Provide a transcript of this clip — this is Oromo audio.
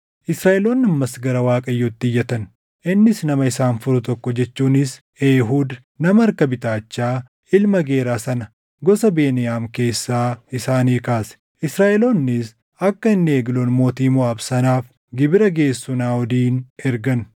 Israaʼeloonni ammas gara Waaqayyootti iyyatan; innis nama isaan furu tokko jechuunis Eehuud nama harka bitaachaa, ilma Geeraa sana gosa Beniyaam keessaa isaanii kaase. Israaʼeloonnis akka inni Egloon mootii Moʼaab sanaaf gibira geessu Naaʼodin ergan.